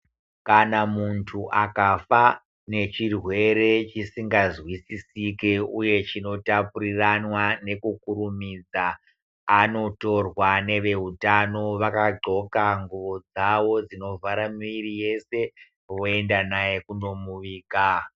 Kana muntu akafa nechirwere chisingazwisisike uye chinotapuriranwa nekukurumidza anotorwa newe utano vakaghoka nguwo dzawo dzinovhara miri yese woenda naye kundomuviga.